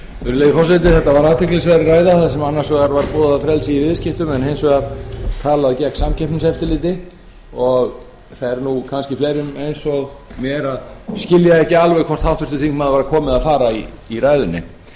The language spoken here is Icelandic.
virðulegi forseti þetta á athyglisverð ræða þar sem annars vegar var boðað frelsi í viðskiptum en hins vegar talað gegn samkeppniseftirliti og fer kannski fleirum eins og mér að skilja ekki alveg hvort h þingmaður var að koma eða fara í ræðunni